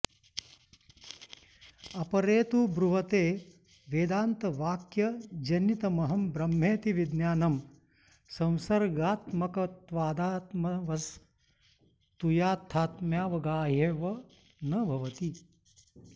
अपरे तु ब्रुवते वेदान्तवाक्यजनितमहं ब्रह्मेति विज्ञानं संसर्गात्मकत्वादात्मवस्तुयाथात्म्यावगाह्येव न भवति